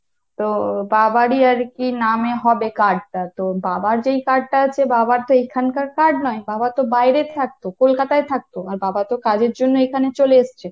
তো বাবারই আর কি নাম এ হবে card টা তো বাবার যে card টা আছে বাবার তো এখানকার card নয় বাবা তো বাইরে থাকতো, কলকাতায় থাকতো , আর বাবা তো কাজের জন্য এখানে চলে এসছে।